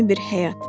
Yeni bir həyat.